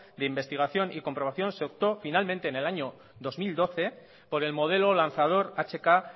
de investigación y comprobación se optó finalmente en el año dos mil doce por el modelo lanzador hk